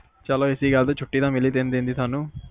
ਚਲੋ ਇਸੇ ਗੱਲ ਤੇ ਛੁੱਟੀ ਤਾ ਮਿਲੀ ਤਿੰਨ ਦਿਨ ਦੀ ਤੁਹਾਨੂੰ